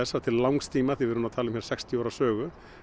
að til langs tíma við erum að tala um hér sextíu ára sögu